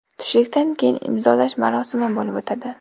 Tushlikdan keyin imzolash marosimi bo‘lib o‘tadi.